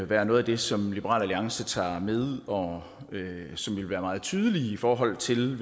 være noget af det som liberal alliance tager med og som vil være meget tydeligt i forhold til